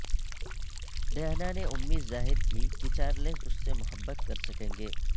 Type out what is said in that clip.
Diana نے امید ظاہر کی کہ چارلس اس سے محبت کر سکیں گے